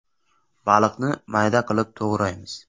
Baliqni mayda qilib to‘g‘raymiz.